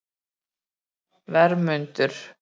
Vermundur